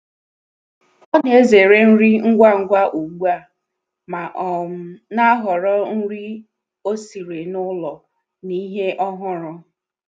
Ọ na-ezere nri ngwa ngwa ugbu a ma um na-ahọrọ nri o siri n’ụlọ na ihe ọhụrụ.